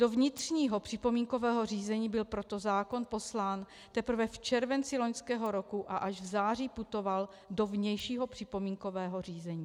Do vnitřního připomínkového řízení byl proto zákon poslán teprve v červenci loňského roku a až v září putoval do vnějšího připomínkového řízení.